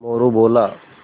मोरू बोला